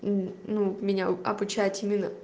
ну меня обучать именно